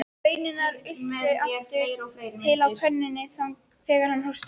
Baunirnar ultu aftur til á pönnunni þegar hann hóstaði.